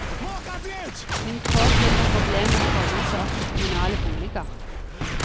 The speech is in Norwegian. Hun trår til når problemer tårner seg opp i kommunale boliger.